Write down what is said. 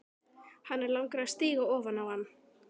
Hana langar að stíga ofan á hann.